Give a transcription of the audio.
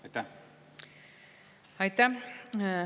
Aitäh!